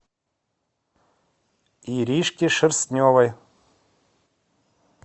иришке шерстневой